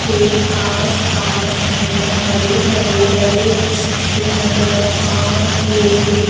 के आसपास हमें हरे भरे बड़े बड़े वृक्ष नजर आ रहे हैं।